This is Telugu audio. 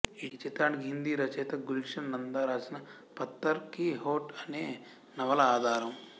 ఈ చిత్రానికి హిందీ రచయిత గుల్షన్ నందా రాసిన పత్తర్ కీ హోట్ అనే నవల ఆధారం